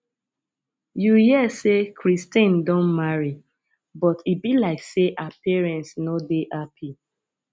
you hear say christine don marry but e be like say her parents no dey happy